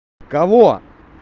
кого